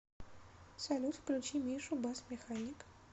салют включи мишу басс механик